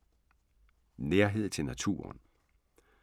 Nærhed til naturen